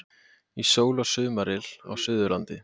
Í sól og sumaryl á Suðurlandi